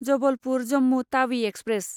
Jabalpur Jammu Tawi express